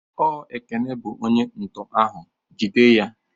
Ọ Ekene bụ onye nto ahụ, jide ya!